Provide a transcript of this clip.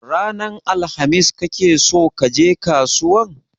Ranar alhamis kake so kaje kasuwan?